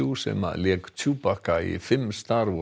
sem lék í fimm star